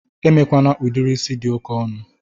Emekwana udiri is dị oke ọnụ!